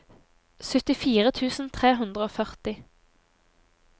syttifire tusen tre hundre og førti